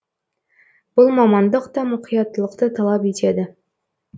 бұл мамандық та мұқияттылықты талап етеді